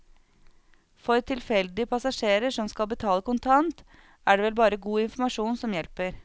For tilfeldige passasjerer som skal betale kontant, er det vel bare god informasjon som hjelper.